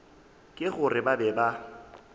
ke gore ba be ba